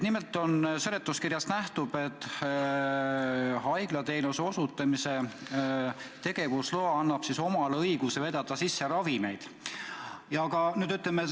Nimelt, seletuskirjast nähtub, et haiglaapteegiteenuse osutamise tegevusluba annaks õiguse ka ravimeid sisse vedada.